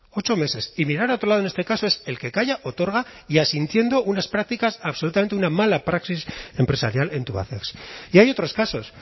ocho meses y mirar a otro lado en este caso es el que calla otorga y asintiendo unas prácticas absolutamente una mala praxis empresarial en tubacex y hay otros casos